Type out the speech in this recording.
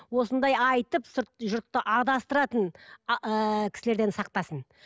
осындай айтып сырт жұртты адастыратын ііі кісілерден сақтасын